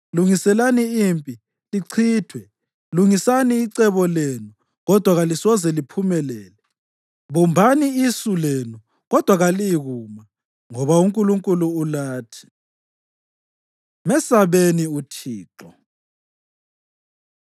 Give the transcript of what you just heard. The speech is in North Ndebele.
Lungisani icebo lenu, kodwa kalisoze liphumelele: bumbani isu lenu, kodwa kaliyikuma, ngoba uNkulunkulu ulathi. Mesabeni UThixo